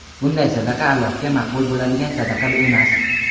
Bunday sadaqa Allohga maqbul bo‘ladigan sadaqa emas.